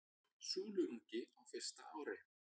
Súluungi á fyrsta ári.